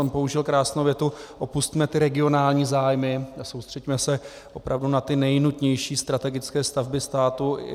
Tam použil krásnou větu: opusťme ty regionální zájmy a soustřeďme se opravdu na ty nejnutnější strategické stavby státu.